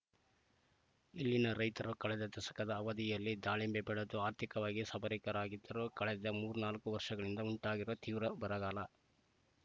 ಇಲ್ಲಿನ ರೈತರು ಕಳೆದ ದಶಕದ ಅವಧಿಯಲ್ಲಿ ದಾಳಿಂಬೆ ಬೆಳೆದು ಆರ್ಥಿಕವಾಗಿ ಸಬಲರಾಗಿದ್ದರೂ ಕಳೆದ ಮೂರ್ನಾಲ್ಕು ವರ್ಷಗಳಿಂದ ಉಂಟಾಗಿರುವ ತೀವ್ರ ಬರಗಾಲ